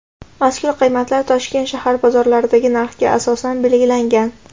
mazkur qiymatlar Toshkent shahar bozorlaridagi narxga asosan belgilangan.